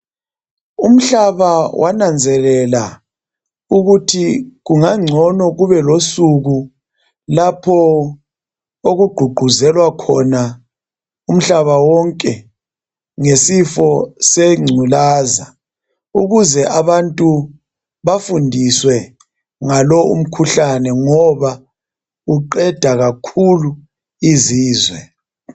Umhlaba wananzelela ukuthi kungangcono kube losuku lapho okugqugquzelwa khona umhlaba wonke ngesifo sengculaza ukuze abantu bafundiswe ngalo umkhuhlane ngoba uqeda kakhulu izizwe.